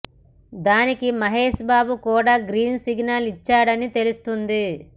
దానికి మహేష్ బాబు కూడా green signal ఇచ్చాడని తెలుస్తుంది